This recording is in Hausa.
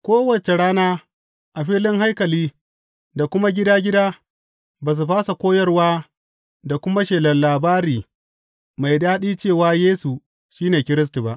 Kowace rana, a filin haikali da kuma gida gida, ba su fasa koyarwa da kuma shelar labari mai daɗi cewa Yesu shi ne Kiristi ba.